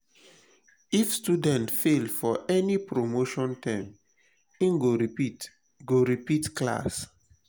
if student fail for any promotion term in go repeat go repeat class